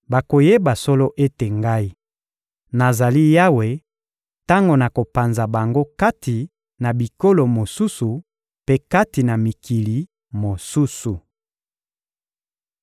Bakoyeba solo ete Ngai, nazali Yawe, tango nakopanza bango kati na bikolo mosusu mpe kati na mikili mosusu.